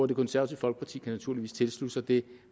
det konservative folkeparti kan naturligvis tilslutte sig det